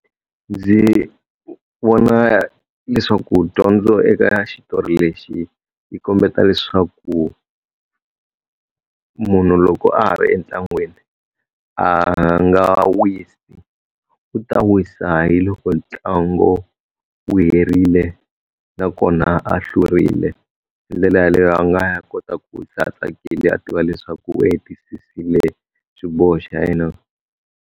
Ndzi vona leswaku dyondzo eka xitori lexi yi kombeta leswaku, munhu loko a ha ri entlangwini a nga wisi. U ta wisa hi loko ntlangu wu herile na kona a hlurile. Hi ndlela yaleyo a nga ya kota ku wisa tsakile a tiva leswaku u hetisisile xiboho xa yena.